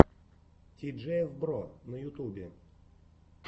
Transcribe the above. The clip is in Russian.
ти джи эф бро на ютубе